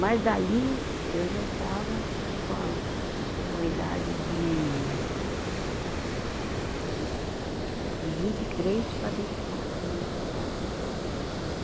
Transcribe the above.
Mas dali eu já estava com a, com a idade de, de vinte e três para vinte e quatro anos de idade.